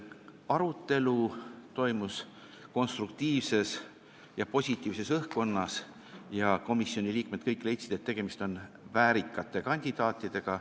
Arutelu toimus konstruktiivses ja positiivses õhkkonnas, kõik komisjoni liikmed leidsid, et tegemist on väärikate kandidaatidega.